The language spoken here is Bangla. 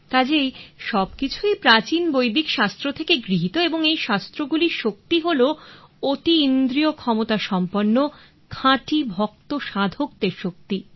কাজেই সবকিছুই প্রাচীন বৈদিক শাস্ত্র থেকে গৃহীত এবং এই শাস্ত্র গুলির শক্তি হলো অতীন্দ্রিয় ক্ষমতা সম্পন্ন খাঁটি ভক্ত সাধকদের শক্তি